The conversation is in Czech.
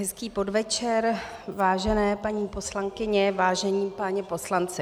Hezký podvečer, vážené paní poslankyně, vážení páni poslanci.